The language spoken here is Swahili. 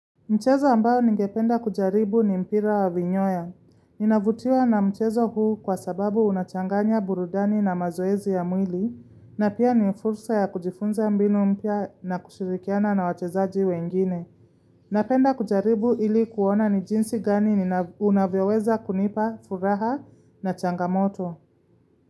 Mchezo ambayo ningependa kujaribu ni mpira wa vinyoya. Ninavutiwa na mchezo huu kwa sababu unachanganya burudani na mazoezi ya mwili, na pia ni fursa ya kujifunza mbinu mpya na kushirikiana na wachezaji wengine. Napenda kujaribu ili kuona ni jinsi gani unavyoweza kunipa, furaha na changamoto.